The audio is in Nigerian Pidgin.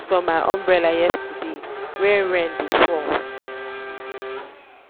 i give my nebor my umbrella yesterday wey rain dey fall.